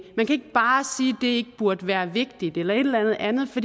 bare sige det ikke burde være vigtigt eller et eller andet andet for